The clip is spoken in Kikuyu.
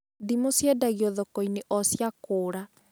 Ndimũ ciendagio thoko-inĩ o cia kũra